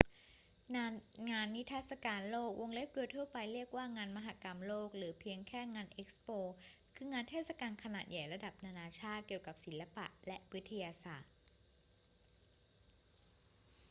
งานนิทรรศการโลก โดยทั่วไปเรียกว่า งานมหกรรมโลก หรือเพียงแค่งาน เอ็กซ์โป คืองานเทศกาลขนาดใหญ่ระดับนานาชาติเกี่ยวกับศิลปะและวิทยาศาสตร์